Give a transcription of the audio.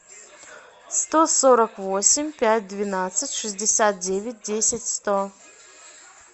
сто сорок восемь пять двенадцать шестьдесят девять десять сто